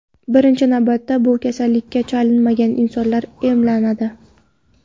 Birinchi navbatda bu kasallikka chalinmagan insonlar emlanadi.